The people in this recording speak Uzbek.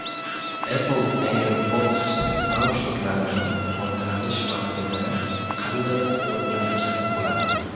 Apple AirPods naushniklarini foydalanish vaqtida qanday quvvatlantirsa bo‘ladi?.